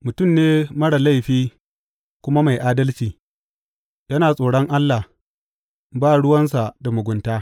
Mutum ne marar laifi kuma mai adalci; yana tsoron Allah, ba ruwansa da mugunta.